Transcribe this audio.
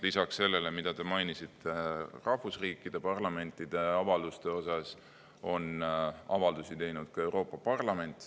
Lisaks sellele, mida te mainisite rahvusriikide parlamentide avalduste kohta, on avaldusi teinud ka Euroopa Parlament.